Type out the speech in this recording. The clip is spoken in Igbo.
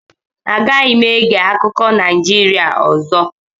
Agaghị m ege akụkọ Naijirịa ọzọ